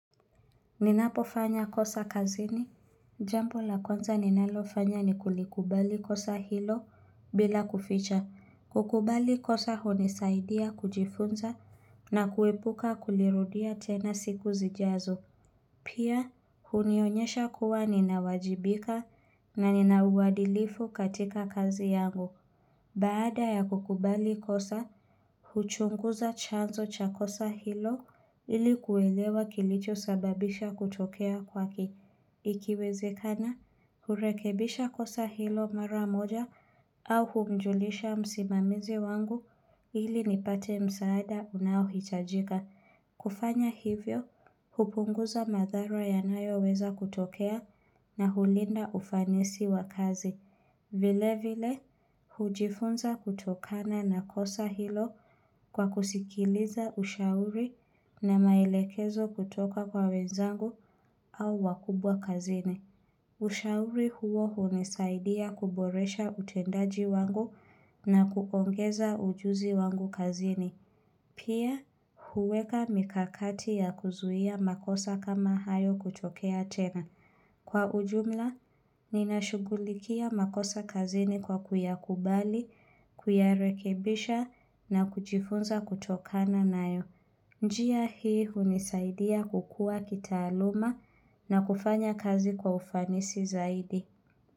Ninapofanya kosa kazini, jampo la kwanza ninalofanya ni kulikubali kosa hilo bila kuficha. Kukubali kosa hunisaidia kujifunza na kuepuka kulirudia tena siku zijazo. Pia, hunionyesha kuwa ninawajibika na ninauwadilifu katika kazi yangu. Baada ya kukubali kosa, huchunguza chanzo cha kosa hilo ili kuwelewa kilicho sababisha kutokea kwake. Ikiwezekana, hurekebisha kosa hilo mara moja au humjulisha msimamizi wangu ili nipate msaada unaohitajika. Kufanya hivyo, hupunguza madhara yanayoweza kutokea na hulinda ufanisi wa kazi. Vile vile, hujifunza kutokana na kosa hilo kwa kusikiliza ushauri na mailekezo kutoka kwa wenzangu au wakubwa kazini. Ushauri huo hunisaidia kuboresha utendaji wangu na kukongeza ujuzi wangu kazini. Pia, huweka mikakati ya kuzuhia makosa kama hayo kutokea tena. Kwa ujumla, ninashughulikia makosa kazini kwa kuyakubali, kuyarekebisha na kujifunza kutokana nayo. Njia hii unisaidia kukua kitaaluma na kufanya kazi kwa ufanisi zaidi.